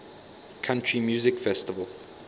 country music festival